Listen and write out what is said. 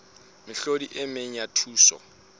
mehlodi e meng ya thuso